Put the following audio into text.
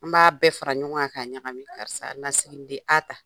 An b'a bɛɛ fara ɲɔgɔn kan k'aa ɲagami karisa na siginiden a ta.